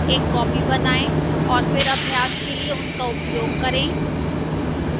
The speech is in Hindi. एक copy बनाएं और फिर अभ्यास के लिए उनका उपयोग करें